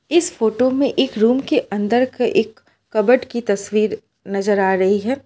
इस फोटो में एक रूम के अंदर के एक कबोर्ड का तस्वीर नजर आ रही है।